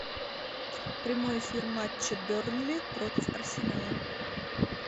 прямой эфир матча бернли против арсенала